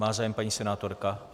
Má zájem paní senátorka?